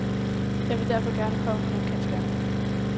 Jeg vil derfor gerne komme med nogle kendsgerninger.